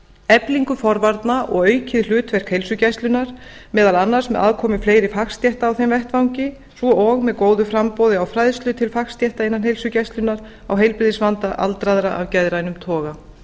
eflingu forvarna og aukið hlutverk heilsugæslunnar meðal annars með aðkomu fleiri fagstétta á þeim vettvangi svo og með góðu framboði á fræðslu til fagstétta innan heilsugæslunnar á heilbrigðisvanda aldraðra af geðrænum toga